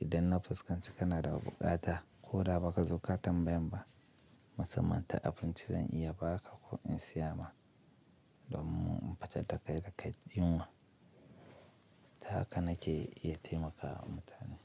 Idan na fuskanci kana da buƙata ko da ba ka zo ka tambayen ba, musamman ta abinci, zan iya ba ka ko in siya ma domun in fitar da kai daka yinwa. Ta haka nake iya taimakawa mutane.